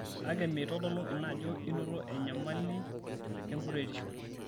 Kake meitodolu ina ajo inoto enyamali e enkuretisho.